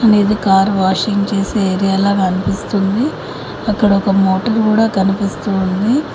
అనేది car washing చేసె area లా కనిపిస్తుంది అక్కడ ఒక మోటర్ కూడా కనిపిస్తూ ఉంది.